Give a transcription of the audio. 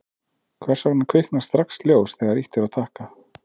hvers vegna kviknar strax ljós þegar ýtt er á takka